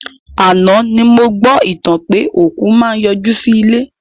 Àná ni mo gbọ́ ìtàn pé òkú máa n yọ jú sí ilé